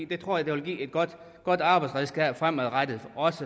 det tror jeg vil give et godt arbejdsredskab fremadrettet